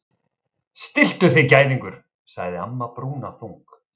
Stilltu þig gæðingur sagði amma brúnaþung.